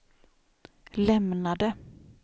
lämnade